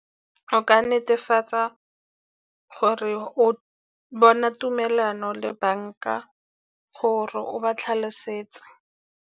Go ka netefatsa gore o bona tumelano le banka gore o ba tlhalosetse.